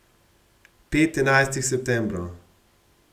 Pet enajstih septembrov.